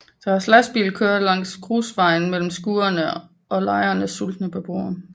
Deres lastbil kører langs grusvejen mellem skurene og lejrens sultne beboere